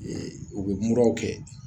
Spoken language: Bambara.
Ee u bɛ muraw kɛ